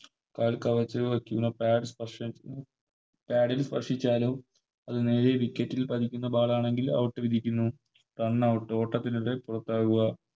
കാൽ കവച്ചു വെക്കുന്ന പാദസ്പർശം കാലിൽ സ്പർശിച്ചാലോ അത് നേരെ Wicket ൽ പതിക്കുന്ന Ball ആണെങ്കിൽ Out വിളിക്കുന്നു Runout ഓട്ടത്തിനിടെ പുറത്താവുക